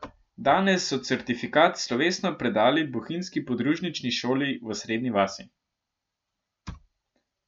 Danes so certifikat slovesno predali bohinjski podružnični šoli v Srednji vasi.